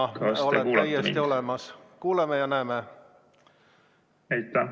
Jah, ka sina oled täiesti olemas, me kuuleme ja näeme sind.